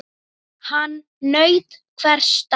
Hann naut hvers dags.